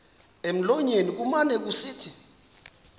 emlonyeni kumane kusithi